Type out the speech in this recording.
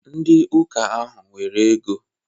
Ndị ụka ahụ nwere ego.